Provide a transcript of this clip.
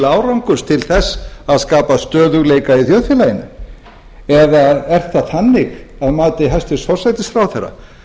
árangurs til þess að skapa stöðugleika í þjóðfélaginu eða er það þannig að mati hæstvirtur forsætisráðherra